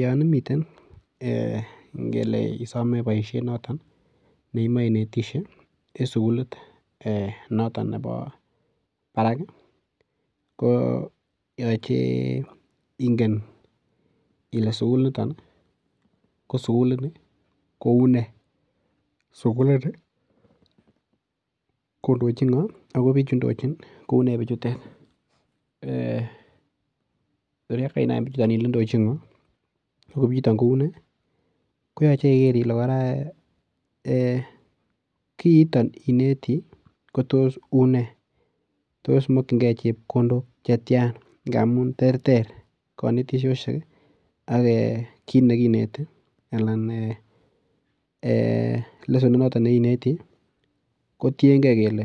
Yon imiten ee ngele isome boisiet noto neimoe inetisie en sugulit noto nebo barak koyoche ingen ile sugulinito ko sugulini kou ne. Sugulini kondochin ngo ago biichu indochin koune biichutet. Korgainai ile indochin ngo oo kiiton kou ne koyoche iger ile kora kiiton ineti kotos une. Tos makyinge chepkondok chetian ngamun terter konetisosiek ak kitnekineti anan ee lesonit noto ne ineti kotienge kele